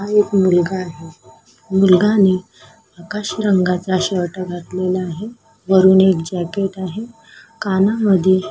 हा एक मुलगा आहे मुलाने आकाशी रंगाचा शर्ट घातलेला आहे वरून एक जॅकेट आहे कानामध्ये--